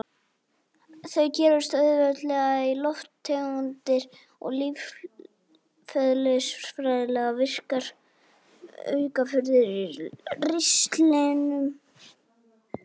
Þau gerjast auðveldlega í lofttegundir og lífeðlisfræðilega virkar aukaafurðir í ristlinum.